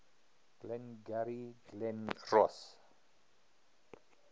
glengarry glen ross